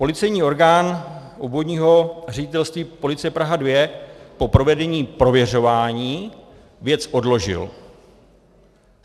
Policejní orgán Obvodního ředitelství policie Praha II po provedení prověřování věc odložil.